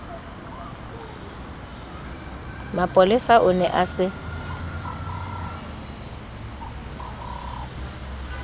mapolesa o ne a se